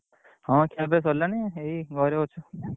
ହଁ ଖିଆପିଆ ସରିଲାଣି ଏଇ ଘରେ ଅଛୁ।